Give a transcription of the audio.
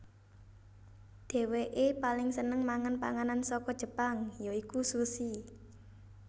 Dhéwékeè paling seneng mangan panganan saka Jepang ya iku sushi